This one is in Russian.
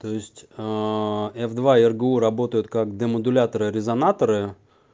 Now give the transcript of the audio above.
то есть ээ ф два ргу работают как демодуляторы резонаторы